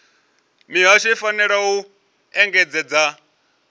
mihasho i fanela u engedzedza